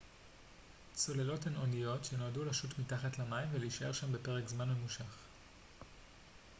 צוללות הן אניות שנועדו לשוט מתחת למים ולהישאר שם במשך פרק זמן ממושך